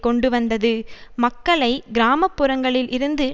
கொண்டுவந்தது மக்களை கிராம புறங்களில் இருந்து